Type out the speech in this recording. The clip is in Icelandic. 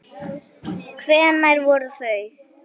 Hvenær voru þau?